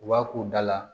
U b'a k'u da la